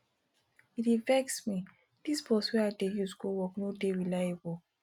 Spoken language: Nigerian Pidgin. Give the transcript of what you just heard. e dey vex me dis bus wey i dey use go work no dey reliable